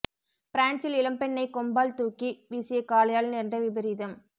பிரான்சில் இளம் பெண்ணை கொம்பால் தூக்கி வீசிய காளையால் நேர்ந்த விபரீதம்